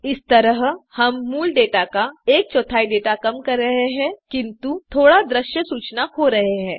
इस तरह हम मूल डेटा का एक चौथाई डेटा कम कर रहें हैं किन्तु थोड़ा दृश्य सूचना खो रहे हैं